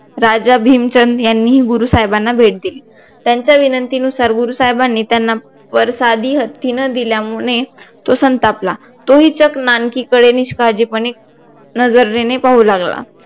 राजा भीमचंद यांनी गुरु साहेबांना भेट दिली त्यांच्या विनंती नुसार गुरु साहेबानी त्यांना वर साधी हत्ती न दिल्यामुळे तो संतापला तो ही चक्क नानकीकडे निष्काळजीपणे नजरेने पाहू लागला